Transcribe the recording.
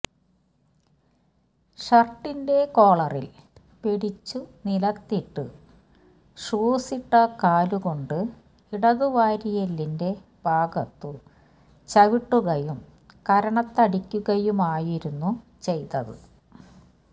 ഷർട്ടിന്റെ കോളറിൽ പിടിച്ചു നിലത്തിട്ടു ഷൂസിട്ട കാലുകൊണ്ട് ഇടതു വാരിയെല്ലിന്റെ ഭാഗത്തു ചവിട്ടുകയും കരണത്തടിക്കുകയുമായിരുന്നു ചെയ്തത്